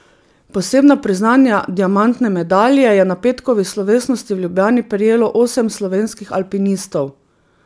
Posebna priznanja, diamantne medalje, je na petkovi slovesnosti v Ljubljani prejelo osem slovenskih alpinistov.